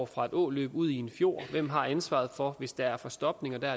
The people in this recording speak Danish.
fra et åløb ud i en fjord hvem har ansvaret for hvis der er tilstopninger der